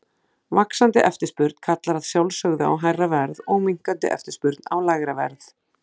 Vaxandi eftirspurn kallar að sjálfsögðu á hærra verð og minnkandi eftirspurn á lægra verð.